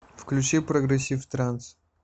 включи прогрессив транс